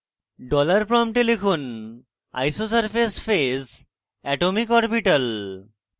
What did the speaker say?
dollar $ prompt লিখুন isosurface phase atomicorbital